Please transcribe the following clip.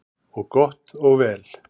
Og gott og vel.